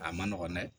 A man nɔgɔn dɛ